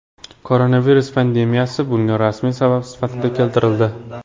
Koronavirus pandemiyasi bunga rasmiy sabab sifatida keltirildi.